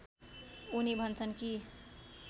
उनी भन्छन् कि